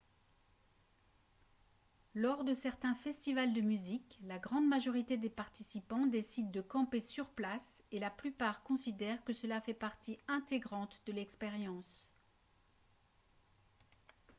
lors de certains festivals de musique la grande majorité des participants décident de camper sur place et la plupart considèrent que cela fait partie intégrante de l'expérience